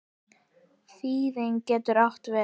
Þýðandi getur átt við